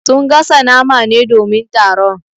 Sun gasa nama ne domin taron.